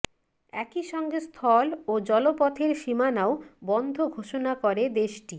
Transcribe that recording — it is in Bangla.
একই সঙ্গে স্থল ও জলপথের সীমানাও বন্ধ ঘোষণা করে দেশটি